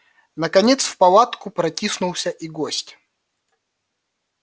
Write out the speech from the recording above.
наконец в палатку протиснулся и гость